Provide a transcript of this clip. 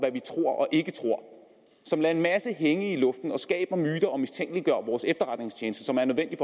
ikke tror som lader en masse hænge i luften og skaber myter og mistænkeliggør vores efterretningstjeneste som er nødvendig